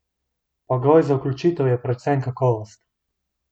Pogoj za vključitev je predvsem kakovost!